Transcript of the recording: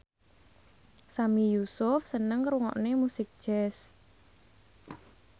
Sami Yusuf seneng ngrungokne musik jazz